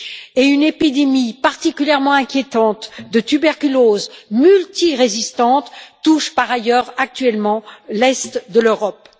et une épidémie particulièrement inquiétante de tuberculose multirésistante touche actuellement l'est de l'Europe.